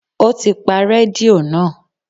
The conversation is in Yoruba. O ti pa rédíò náà.